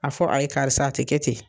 A fɔ a ye karisa a te kɛ ten